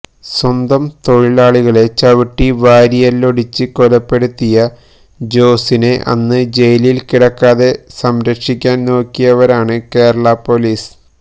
സ്വന്തം തൊഴിലാളിയെ ചവിട്ടി വാരിയെല്ലൊടിച്ച് കൊലപ്പെടുത്തിയ ജോസിനെ അന്ന് ജയിലിൽ കിടക്കാതെ സംരക്ഷിക്കാൻ നോക്കിയവരാണ് കേരളാ പൊലീസ്